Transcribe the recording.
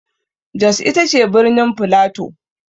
Jos ita ce birnin flato.